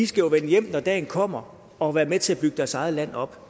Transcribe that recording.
skal vende hjem når dagen kommer og være med til at bygge deres eget land op